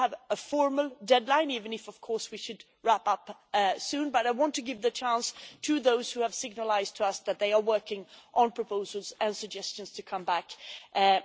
continue. It does not have a formal deadline, even if, we should wrap up soon, but I want to give the chance to those who have signalled to us that they are working on proposals and suggestions to get back